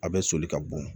A bɛ soli ka bo